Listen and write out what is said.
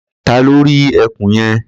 Ta ló rí ẹkùn yẹn?